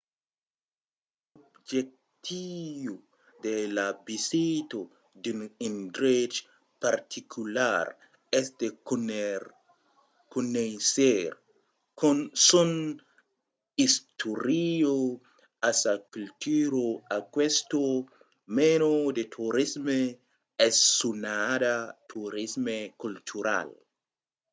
se l’objectiu de la visita d’un endrech particular es de conéisser son istòria e sa cultura aquesta mena de torisme es sonada torisme cultural